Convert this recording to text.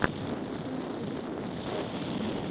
лучший выпуск тед